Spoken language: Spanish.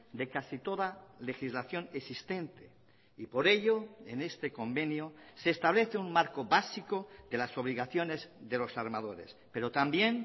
de casi toda legislación existente y por ello en este convenio se establece un marco básico de las obligaciones de los armadores pero también